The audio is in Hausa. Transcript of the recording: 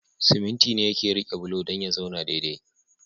Siminti ne yake rike bulo dan ya zauna dai dai